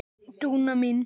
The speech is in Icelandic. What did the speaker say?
Dúna mín.